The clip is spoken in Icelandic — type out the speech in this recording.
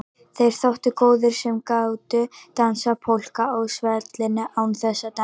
Þeir þóttu góðir sem gátu dansað polka á svellinu án þess að detta.